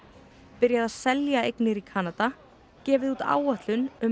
byrjað að selja eignir í Kanada gefið út áætlun um